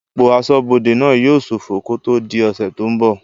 Ipò asọ́bodè náà yóò sófọ kó tó di ọ̀sẹ̀ tó n bọ̀